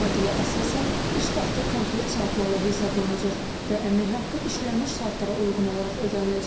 Yeni modelə əsasən, iş vaxtı konkret saatlarla hesablanacaq və əmək haqqı işlənmiş saatlara uyğun olaraq ödəniləcək.